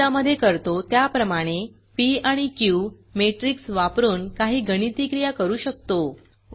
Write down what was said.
गणितामधे करतो त्याप्रमाणे पी आणि क्यू मॅट्रिक्स वापरून काही गणिती क्रिया करू शकतो